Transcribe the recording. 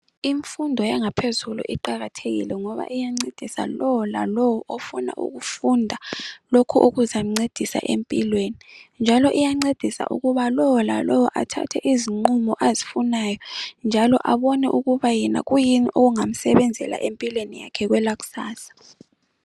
Imfundo yangaphezulu iqakathekile ngoba iyancedisa lowo lalowo ofuna ukufunda lokho okuzamncedisa empilweni njalo iyancedisa ukuba lowo lalowo athathe izinqumo azifunayo njalo abone ukuba yena kuyini okungamsebenzela empilweni yakhe kwelakusasa.